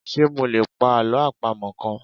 Ṣé mo lè pa Àlọ́ àpamọ̀ kan?